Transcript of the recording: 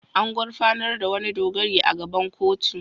An gurfanar da wani dogari a gaban kotu.